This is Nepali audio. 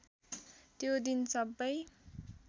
त्यो दिन सबै